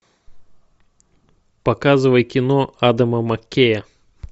показывай кино адама маккея